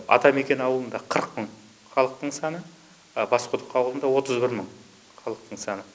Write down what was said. атамекен ауылында қырық мың халықтың саны басқұдық ауылында отыз бір мың халықтың саны